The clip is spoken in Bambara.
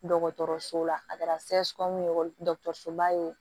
Dɔgɔtɔrɔso la a kɛra ye dɔgɔtɔrɔsoba ye